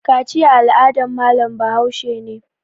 Kaciya al'adan malam Bahaushe ne